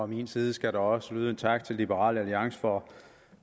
min side skal der også lyde en tak til liberal alliance for